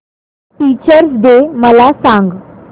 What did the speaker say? teachers day मला सांग